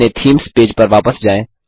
अपने themes page पर वापस जाएँ